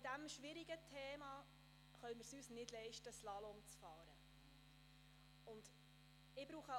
Bei diesem schwierigen Thema können wir es uns nicht leisten, Slalom zu fahren, wie ich glaube.